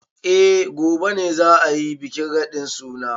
Eh gobe ne za a yi bikin radin suna.